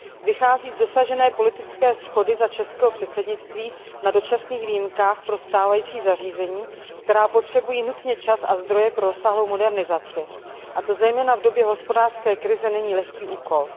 Vychází z dosažené politické shody za českého předsednictví na dočasných výjimkách pro stávající zařízení, která potřebují nutně čas a zdroje pro rozsáhlou modernizaci, a to zejména v době hospodářské krize není lehký úkol.